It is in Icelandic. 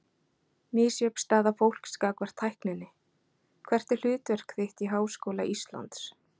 Misjöfn staða fólks gagnvart tækninni Hvert er hlutverk þitt í Háskóla Íslands?